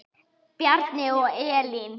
Bjarni og Elín.